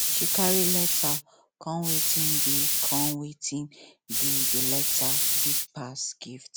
she carry letter comewatin dey comewatin dey the letter big pass gift